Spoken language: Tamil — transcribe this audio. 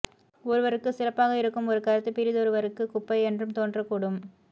ஒருவருக்கு சிறப்பாக இருக்கும் ஒரு கருத்து பிறிதொருவருக்கு குப்பை என்றும் தோன்றக்கூடும்